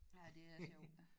Ja det er sjov